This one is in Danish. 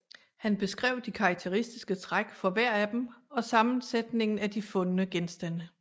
Han beskrev de karakteristiske træk for hver af dem og sammensætningen af de fundne genstande